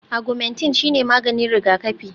Agwumentin shine maganin rigakafi